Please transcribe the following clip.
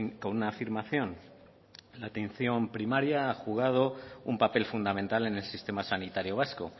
con una afirmación la atención primaria ha jugado un papel fundamental en el sistema sanitario vasco